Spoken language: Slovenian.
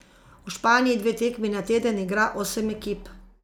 V Španiji dve tekmi na teden igra osem ekip.